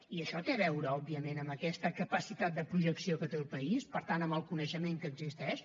i això té a veure òbviament amb aquesta capacitat de projecció que té el país per tant amb el coneixement que existeix